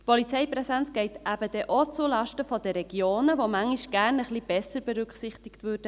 Die Polizeipräsenz geht dann eben auch zulasten der Regionen, die manchmal gerne ein wenig besser berücksichtig würden.